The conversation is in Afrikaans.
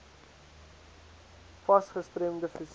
fas gestremde fisieke